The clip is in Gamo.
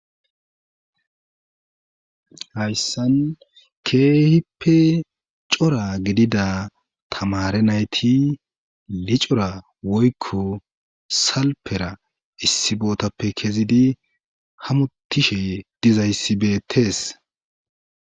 Hayssan keehippe cora gidida tamare nayti licora woykko salpera issi bootappe kezidi hamutishe dizayssibeettees.